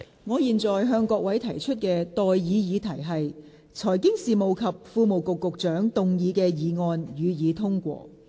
我現在向各位提出的待議議題是：財經事務及庫務局局長動議的議案，予以通過。